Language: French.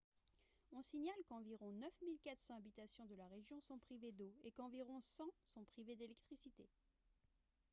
on signale qu'environ 9 400 habitations de la région sont privées d'eau et qu'environ 100 sont privées d'électricité